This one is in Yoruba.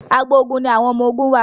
àgbò oògùn ní àwọn ọmọ oògùn wá.